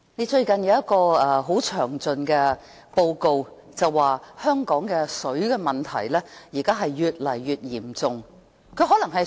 最近有一份很詳盡的報告表示，香港的水問題越來越嚴重。